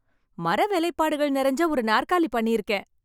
மர வேலைப்பாடுகள் நெறஞ்ச ஒரு நாற்காலி பண்ணி இருக்கேன்.